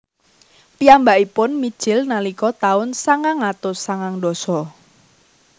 Piyambakipun mijil nalika taun sangang atus sangang dasa